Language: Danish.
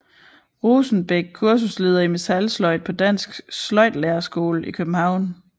Rosenbech kursusleder i metalsløjd på Dansk Sløjdlærerskole i København